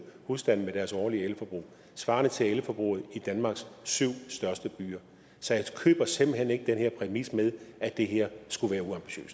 husstande med deres årlige elforbrug svarende til elforbruget i danmarks syv største byer så jeg køber simpelt hen ikke den her præmis med at det her skulle være